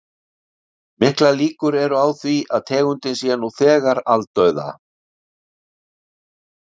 Miklar líkur eru á því að tegundin sé nú þegar aldauða.